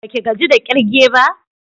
Baki gaji da kirge ba?